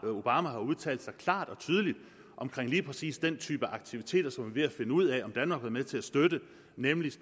obama har udtalt sig klart og tydeligt om lige præcis den type aktiviteter som vi er finde ud af om danmark har været med til at støtte nemlig